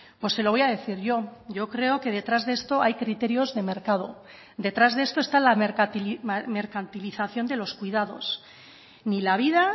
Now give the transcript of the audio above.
pues se lo voy a decir yo yo creo que detrás de esto hay criterios de mercado detrás de esto está la mercantilización de los cuidados ni la vida